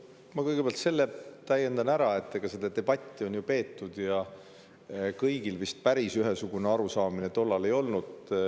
Ma kõigepealt täiendan, et seda debatti ju peeti ja kõigil vist päris ühesugune arusaamine tollal ei olnud.